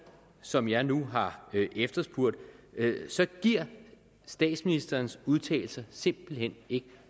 som jeg nu har efterspurgt så giver statsministerens udtalelse simpelt hen ikke